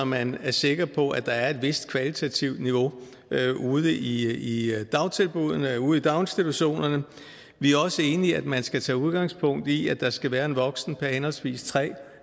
man er sikker på at der er et vist kvalitativt niveau ude i dagtilbuddene ude i daginstitutionerne vi er også enige i at man skal tage udgangspunkt i at der skal være en voksen per henholdsvis tre